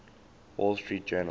wall street journal